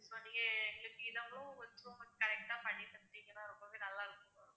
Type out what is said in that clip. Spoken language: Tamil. so நீங்க எங்களுக்கு இதையும் கொஞ்சம் correct ஆ பண்ணி தந்தீங்கன்னா ரொம்பவே நல்லா இருக்கும்.